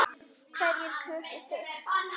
Hverjir kusu þig?